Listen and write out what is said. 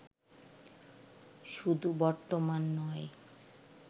শুধু বর্তমান নয়